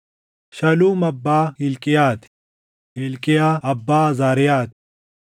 Shaluum abbaa Hilqiyaa ti; Hilqiyaa abbaa Azaariyaa ti;